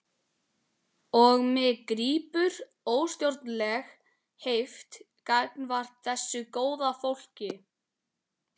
Og mig grípur óstjórnleg heift gagnvart þessu góða fólki.